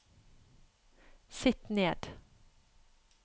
sitt ned